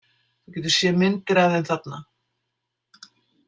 Þú getur séð myndir af þeim þarna.